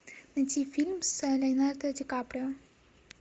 найти фильм с леонардо ди каприо